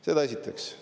Seda esiteks.